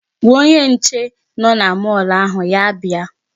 Gwa onye nche nọ na mall ahụ ya bịa.